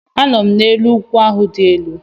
Anọ m n'elu ugwu ahụ dị elu